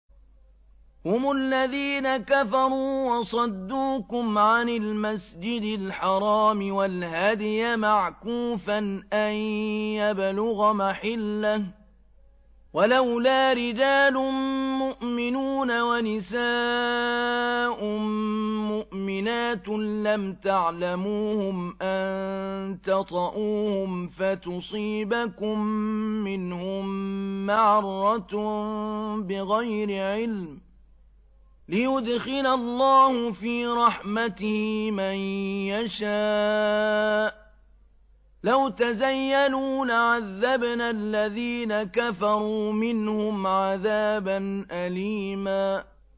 هُمُ الَّذِينَ كَفَرُوا وَصَدُّوكُمْ عَنِ الْمَسْجِدِ الْحَرَامِ وَالْهَدْيَ مَعْكُوفًا أَن يَبْلُغَ مَحِلَّهُ ۚ وَلَوْلَا رِجَالٌ مُّؤْمِنُونَ وَنِسَاءٌ مُّؤْمِنَاتٌ لَّمْ تَعْلَمُوهُمْ أَن تَطَئُوهُمْ فَتُصِيبَكُم مِّنْهُم مَّعَرَّةٌ بِغَيْرِ عِلْمٍ ۖ لِّيُدْخِلَ اللَّهُ فِي رَحْمَتِهِ مَن يَشَاءُ ۚ لَوْ تَزَيَّلُوا لَعَذَّبْنَا الَّذِينَ كَفَرُوا مِنْهُمْ عَذَابًا أَلِيمًا